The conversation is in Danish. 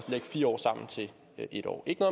lægge fire år sammen til en år ikke